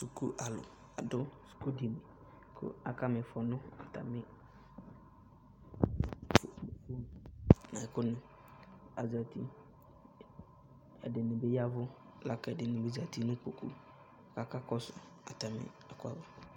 Suku alu adu suku dini ku akamifɔ nu telefone nu ɛkuni Azati ɛdini bi yaʋu, lakɛ ɛdini bi zati nu kpokpu ka aka kɔsu atami ɛku wa